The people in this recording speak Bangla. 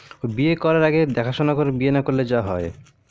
বিয়ে করার আগে দেখা সোনা করে বিয়ে না করলে যা হয়